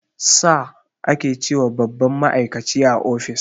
"Sir" ake ce wa babban ma'aikaci a office